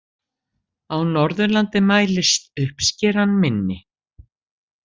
Á Norðurlandi mælist uppskeran minni.